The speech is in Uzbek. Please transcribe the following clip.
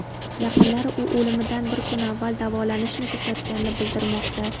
Yaqinlari u o‘limidan bir kun avval davolanishni to‘xtatganini bildirmoqda.